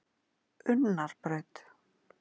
Unnarbraut